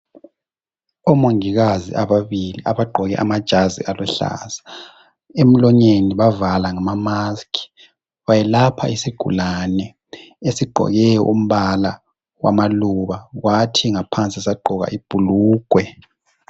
Omongikazi ababili abagqoke amajazi aluhlaza emlonyeni bavale ngezayeke. Belapha isigulane esigqoke umbala wamaluba kwathi ngaphansi sagqoka ibhulugwe.